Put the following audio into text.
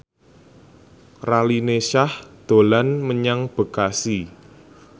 Raline Shah dolan menyang Bekasi